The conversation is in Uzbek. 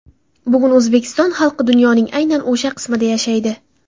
Bugun O‘zbekiston xalqi dunyoning aynan o‘sha qismida yashaydi.